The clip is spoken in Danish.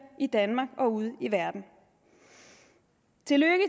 i danmark og ude i verden tillykke